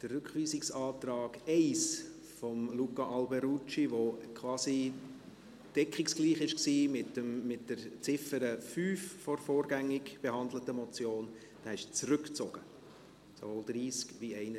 Der Rückweisungsantrag 1 von Luca Alberucci, der quasi deckungsgleich war mit der Ziffer 5 der vorgängig behandelten Motion , ist zurückgezogen, sowohl beim Traktandum 30 wie 31.